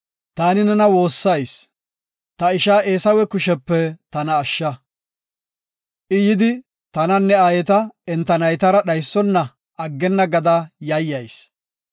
Taani nena woossayis ta isha Eesawe kushepe tana ashsha. I yidi, tananne aayeta enta naytara dhaysona aggenna gada yayyayis.